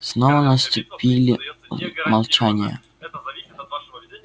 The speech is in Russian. снова наступили молчание